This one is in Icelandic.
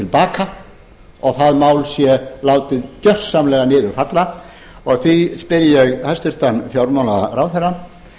baka og það mál sé látið gjörsamlega niður falla og því spyr ég hæstvirtan fjármálaráðherra